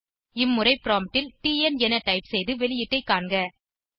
இம்முறை ப்ராம்ப்ட் ல் டிஎன் என டைப் செய்து வெளியீட்டை காண்க